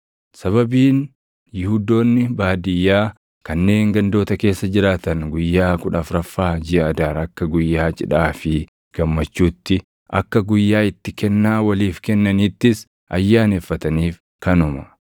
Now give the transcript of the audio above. Sababiin Yihuudoonni baadiyyaa kanneen gandoota keessa jiraatan guyyaa kudha afuraffaa jiʼa Adaar akka guyyaa cidhaa fi gammachuutti, akka guyyaa itti kennaa waliif kennaniittis ayyaaneffataniif kanuma.